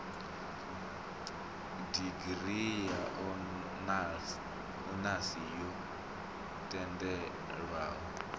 digirii ya onasi yo tendelwaho